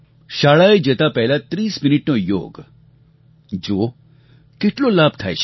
શાળાએ જતા પહેલાં 30 મિનિટનો યોગ જુઓ કેટલો લાભ થાય છે